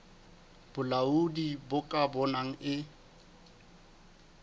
bolaodi bo ka bonang e